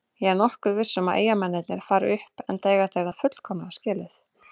Ég er nokkuð viss um að Eyjamennirnir fari upp enda eiga þeir það fullkomlega skilið.